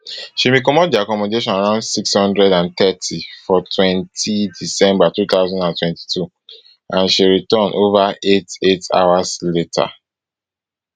she bin comot di accommodation around six hundred and thirty for twenty december two thousand and twenty-two and she return afta ova eight eight hours later